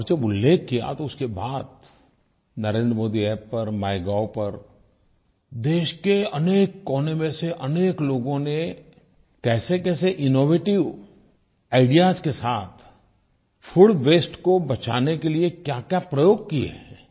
और जब उल्लेख किया तो उसके बाद नरेंद्र मोदी App पर माइगोव पर देश के अनेक कोने में से अनेक लोगों ने कैसेकैसे इनोवेटिव आईडीईएएस के साथ फूड वास्ते को बचाने के लिये क्याक्या प्रयोग किये हैं